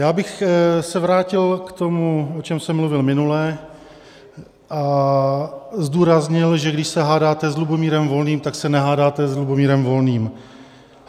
Já bych se vrátil k tomu, o čem jsem mluvil minule, a zdůraznil, že když se hádáte s Lubomírem Volným, tak se nehádáte s Lubomírem Volným.